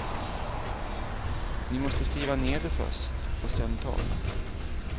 Ni måste skriva ner det först och sedan tala.